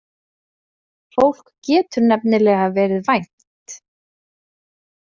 Fólk getur nefnilega verið vænt.